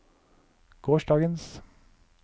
gårsdagens